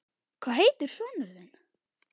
Hvað heitir sonur þinn?